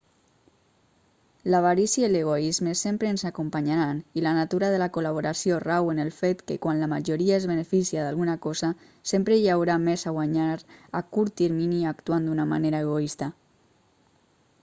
l'avarícia i l'egoisme sempre ens acompanyaran i la natura de la col·laboració rau en el fet que quan la majoria es beneficia d'alguna cosa sempre hi haurà més a guanyar a curt termini actuant d'una manera egoista